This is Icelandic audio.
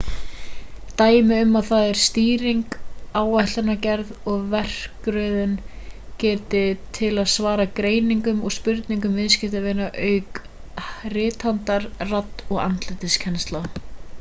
dæmi um það er stýring áætlanagerð og verkröðun getan til að svara greiningum og spurningum viðskiptavina auk rithandar radd og andlitskennsla